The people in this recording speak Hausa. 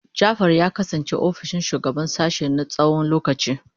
Jafar ya kasance ofishin shugaban sashen na tsawon lokaci.